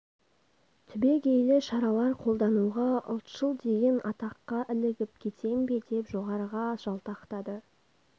түбегейлі шаралар қолдануға ұлтшыл деген атаққа ілігіп кетем бе деп жоғарыға жалтақтады